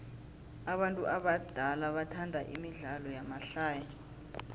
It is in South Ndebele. abantu abadala bathanda imidlalo yamahlaya